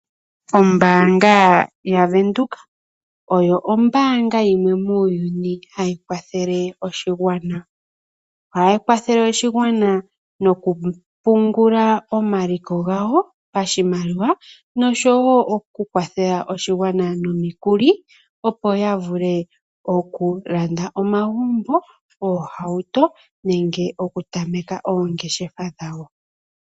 Ombaanga yaWindhoek oyo ombaanga yimwe muuyuni hayi kwathele oshigwana. Ohayi kwathele oshigwana mokupungula omaliko gawo pashimaliwa osho wo okukwathela oshigwana nomikuli opo ya vule okulanda omagumbo, oohauto osho wo okutameka oongeshefa dhawo.